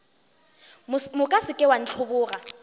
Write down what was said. moka se ke wa ntlhoboga